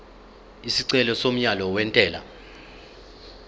isicelo somyalo wentela